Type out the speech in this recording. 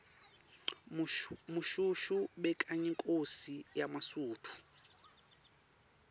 mushoeshoe bekayinkhosi yemasuthu